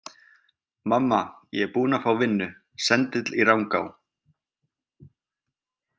Mamma ég er búinn að fá vinnu, sendill í Rangá.